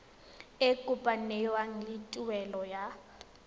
e kopanngwang le tuelo ya